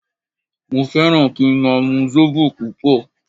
Mo fẹ́ràn kí n máa mu Zobo púpọ̀